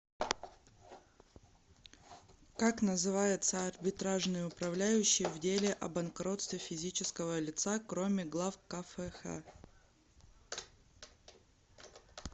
как называется арбитражный управляющий в деле о банкротстве физического лица кроме глав кфх